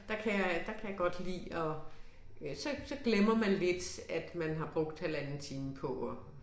Der kan jeg der kan jeg godt lide at så så glemmer man lidt at man har brugt halvanden time på at